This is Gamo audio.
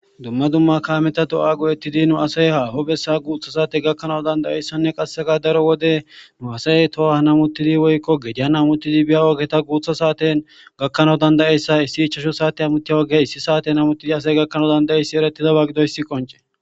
dumma dumma kaameta do7a goo7ettidi nu asay haaho bessa guutha saate gakkanau dandayeyssanne qassega daro wode nu asay toha namuttidi woykko gedia amuttidi biya oogeta guutha saaten gakkanawo dandayeyssa issi ichasho saate amutiya woge issi saaten amutidi asay gakkanawo danda7e issi eretidaba gido issi qonce